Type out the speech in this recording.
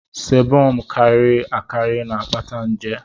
sébọm karịrị akarị na-akpata nje